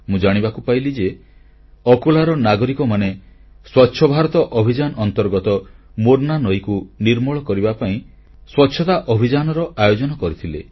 ମୁଁ ଜାଣିବାକୁ ପାଇଲି ଯେ ଅକୋଲାର ନାଗରିକମାନେ ସ୍ୱଚ୍ଛ ଭାରତ ଅଭିଯାନ ଅନ୍ତର୍ଗତ ମୋର୍ନା ନଈକୁ ନିର୍ମଳ କରିବା ପାଇଁ ସ୍ୱଚ୍ଛତା ଅଭିଯାନର ଆୟୋଜନ କରିଥିଲେ